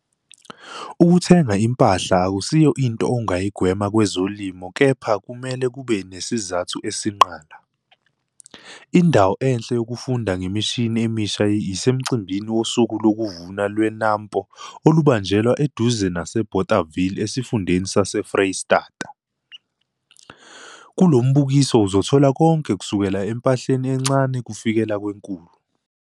Ukuthenga impahla akusiyo inti ongayigwema kwezolimo KEPHA kumele kube nesizathu esinqala. Indawo enhle yokufunda ngemishini emisha yisemcimbini woSuku lokuVuna lweNAMPO olubanjelwa eduze naseBothaville esifundeni saseFreystata. Kulo mbukiso uzothola konke kusukela empahleni encane kufikela kwenkulu.